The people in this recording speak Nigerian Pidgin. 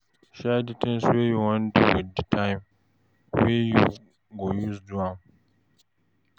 Share di things wey you wan do with di time wey you go use do am